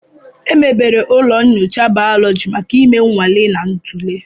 Emebere ụlọ nyocha bayólóji maka ime nnwale na ntule